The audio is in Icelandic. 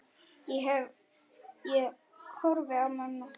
Ég horfi á mömmu.